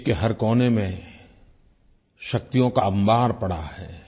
देश के हर कोने में शक्तियों का अम्बार पड़ा है